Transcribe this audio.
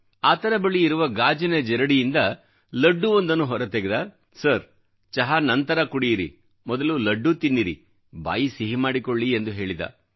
ಆತನ ಬಳಿಯಿರುವ ಗಾಜಿನ ಜರಡಿಯಿಂದ ಲಡ್ಡುವೊಂದನ್ನು ಹೊರತೆಗೆದ ಸರ್ ಚಹಾ ನಂತರ ಕುಡಿಯಿರಿ ಮೊದಲು ಲಡ್ಡು ತಿನ್ನಿರಿ ಬಾಯಿ ಸಿಹಿ ಮಾಡಿಕೊಳ್ಳಿ ಎಂದು ಹೇಳಿದ